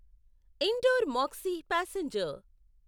indoor maxi passenger